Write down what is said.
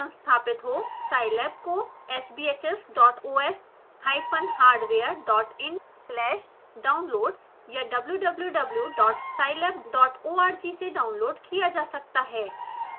scilab को sbhs dot os hyphen hardware dot in slash downloads या www dot scilab dot org से download किया जा सकता है